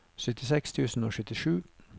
syttiseks tusen og syttisju